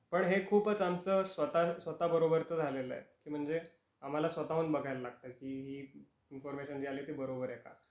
पण हे खूपच आमचं स्वतःच स्वतः बरोबरच झालेला आहे. म्हणजे आम्हाला स्वताहून बघायला लागत की हि इन्फॉरमेशन जी आली ती बरोबर आहे का.